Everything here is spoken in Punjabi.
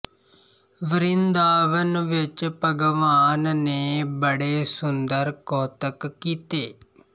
ਵਰਿੰਦਾਵਨ ਵਿੱਚ ਭਗਵਾਨ ਨੇ ਬੜੇ ਸੁੰਦਰ ਕੌਤਕ ਕੀਤੇ